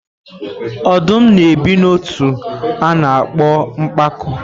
Ọdụm na-ebi n'ọtú a na-akpọ mpako.